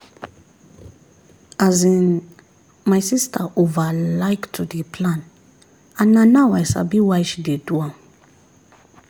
as in my sister over like to dey plan and na now i sabi why she dey do am